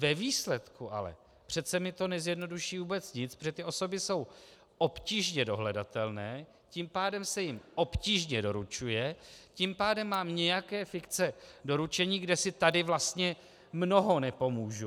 Ve výsledku ale přece mi to nezjednoduší vůbec nic, protože ty osoby jsou obtížně dohledatelné, tím pádem se jim obtížně doručuje, tím pádem mám nějaké fikce doručení, kde si tady vlastně mnoho nepomůžu.